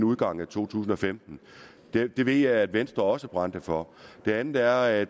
udgangen af to tusind og femten det ved jeg at venstre også brændte for det andet er at